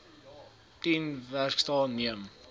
tien werksdae neem